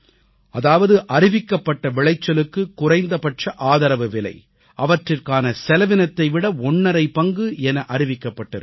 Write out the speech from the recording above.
அதாவது அறிவிக்கப்பட்ட விளைச்சலுக்கு குறைந்தபட்ச ஆதரவுவிலை அவற்றிற்கான செலவினத்தை விட ஒண்ணரை பங்கு என அறிவிக்கப் பட்டிருக்கிறது